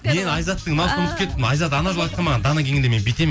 мен айзаттың мынауысын ұмытып кетіппін айзат анау жолы айтқан маған мен дана келгенде мен бүйтемін